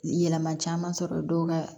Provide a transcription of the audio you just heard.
Yɛlɛma caman sɔrɔ dɔw ka